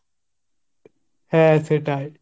হা সেটাই।